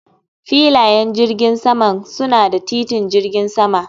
Filayen jirgin saman suna da titin jirgin sama